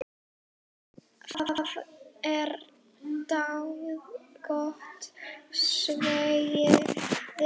Það er dágóð veiði.